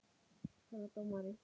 Herra dómari!